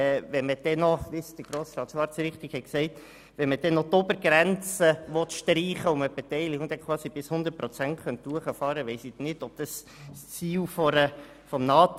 Wenn man dann noch die Obergrenze streichen will und die Beteiligung sogar auf 100 Prozent hinauffahren könnte, weiss ich nicht, ob das Ziel des Antrags erfüllt ist.